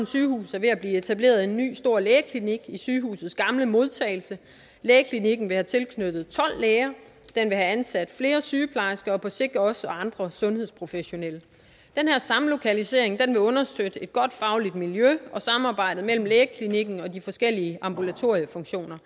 sygehus er ved at blive etableret en ny stor lægeklinik i sygehusets gamle modtagelse lægeklinikken vil have tilknyttet tolv læger have ansat flere sygeplejersker og på sigt også andre sundhedsprofessionelle den her samlokalisering vil understøtte et godt fagligt miljø og samarbejdet mellem lægeklinikken og de forskellige ambulatoriefunktioner